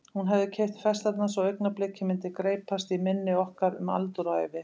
Hún hafði keypt festarnar svo augnablikið myndi greypast í minni okkar um aldur og ævi.